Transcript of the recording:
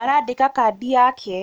arandĩka Kandi yake